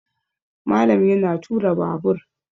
Malam yana tura Babur